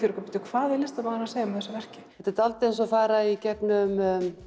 bíddu hvað er listamaðurinn að segja með þessu verki þetta er dálítið eins og að fara í gegnum